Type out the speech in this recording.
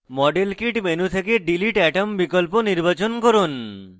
model kit menu থেকে delete atom বিকল্প নির্বাচন করুন